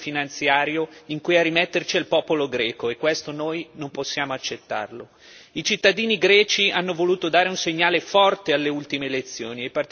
Non si tratta ovviamente di una guerra combattuta da eserciti, ma di un conflitto economico e finanziario in cui a rimetterci è il popolo greco e questo noi non possiamo accettarlo.